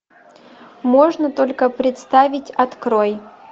можно только представить открой